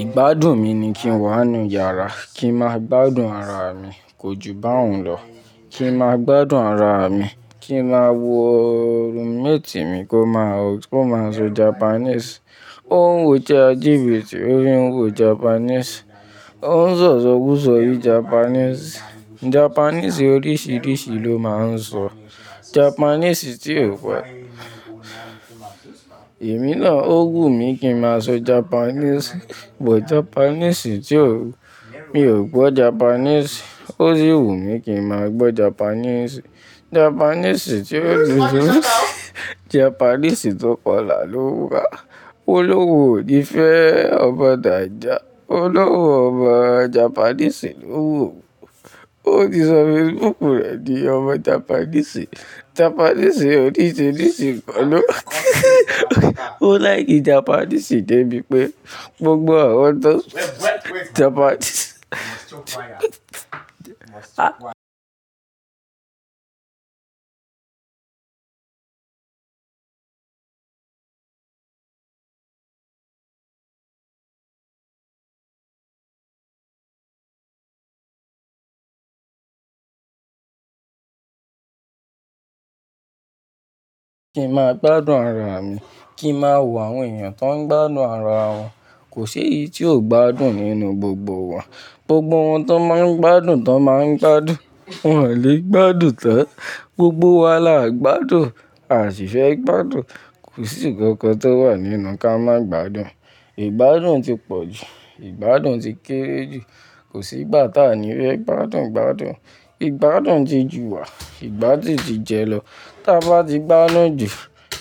Ìgbádùn mi ni kí n wà nínú yàrá, kí n máa gbádùn ara mi, kò ju báyìí lọ. Kí n máa gbádùn ara mi, kí n máa wo roommate mi kó máa sé Japanese. Ó ń wò chatgpt tì, ó rí ń wò Japanese. Ó ń sọ̀ isọkuso bi Japanese. Japanese oríṣiríṣi ló máa ń sọ. Ó ń sọ̀ isọkuso bi Japanese. Japanese oríṣiríṣi ló máa ń sọ. Èmi náà ó wù mí kí n máa sọ Japanese, but Japanese tí ò, mi ò gbọ́ Japanese. Ó sì wù mí kí n máa gbọ́ Japanese. Japanese tí ò dí. Japanese tó kọlà ló wù wa. Olówó ò ní fẹ́ ọba dàjà. Olówó ọba Japanese ló wù mí. Ó ti sọ Facebook rẹ̀ di ọba Japanese. Japanese oríṣiríṣi pọ̀ ló. Ó láì kí Japanese dé bí pé gbogbo àwọn tó sọ Japanese. Kí n máa gbádùn ara mi, kí n máa wò àwọn èèyàn tó ń gbádùn ara wọn. Kò sí èyí tí ò gbádùn nínú gbogbo wa. Gbogbo wọn tó máa ń gbádùn tó máa ń gbádùn. Wọn ò lè gbádùn tán. Gbogbo wa là gbádùn, à sì fẹ́ gbádùn. Kò sí nǹkan kan tó wà nínú ká má gbádùn. Ìgbádùn ti pọ̀ jù, ìgbádùn ti kéré jù. Kò sí ìgbà táa ni fẹ́ gbádùn gbádùn. Ìgbádùn di ju wà, ìgbádùn di jẹ lọ. T'a bá ti gbádùn jù,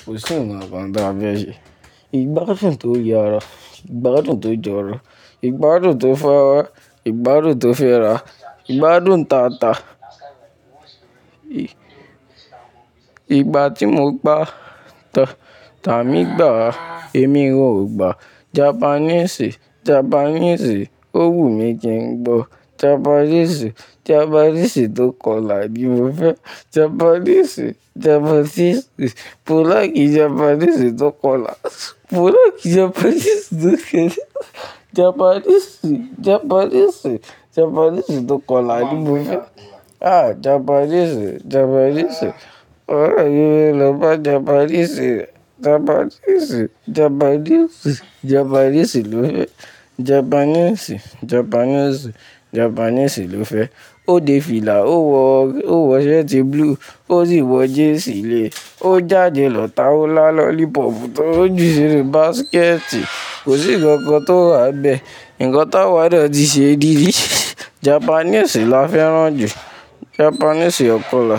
kò sí nǹkan kan táa fẹ́ ṣe. Ìgbádùn tó yára, ìgbádùn tó jọ̀rọ̀, ìgbádùn tó fáwọ́, ìgbádùn tó fẹ́ ra, ìgbádùn tata. Ìgbà tí mo gbá, tàmi gbà, èmi wọn ò gbà. Japanese, Japanese, ó wù mí kí n gbọ́. Japanese, Japanese tó kọlà ni mo fẹ́. Japanese, Japanese, mo láì kí Japanese tó kọlà. Mo láìkí Japanese tó kẹ́rẹ́. Japanese, Japanese, Japanese tó kọlà ni mo fẹ́. Ah, Japanese, Japanese. Óre mí lọ bá Japanese. Japanese, Japanese, Japanese ló fẹ́. Japanese, Japanese, Japanese ló fẹ́. Ó dé fìlà, ó wọ, ó wọ shirt blue, ó sì wọ jeans lẹ́ẹ̀. Ó jáde lọ ta o la lollipop tó. Ó jù sí inú basket. Kò sí nǹkan kan tó wa n bẹ́. Ǹnkan táwa de ti se dìí Japanese là fẹ́ràn jù. Japanese ọkọ́là.